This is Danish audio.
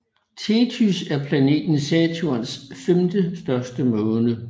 Tethys er planeten Saturns femtestørste måne